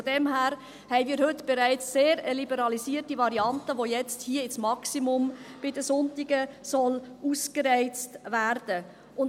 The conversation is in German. Von daher haben wir heute bereits eine sehr liberalisierte Variante, die jetzt hier bei den Sonntagen bis auf das Maximum ausgereizt werden soll.